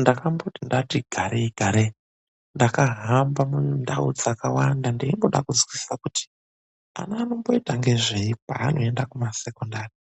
Ndakamboti ndati garei garei ndakahamba mundau dzakawanda ndeimboda kuzwisisa kuti ana anomboita ngezvei paanoenda kumasekondari.